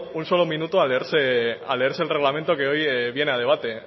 un solo minuto a leerse el reglamento que hoy viene a debate